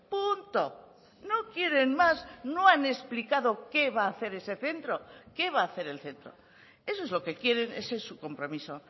punto no quieren más no han explicado qué va a hacer ese centro qué va a hacer el centro eso es lo que quieren ese es su compromiso